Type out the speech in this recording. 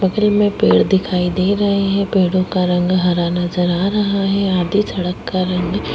बगल में पेड़ दिखाई दे रहे है पेड़ो का हरा नजर आ रहा है आगे थोड़ा कर्व भी --